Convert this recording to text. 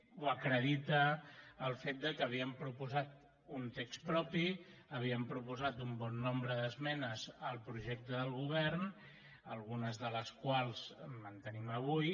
ho acredita el fet que havíem proposat un text propi havíem proposat un bon nombre d’esmenes al projecte del govern algunes de les quals mantenim avui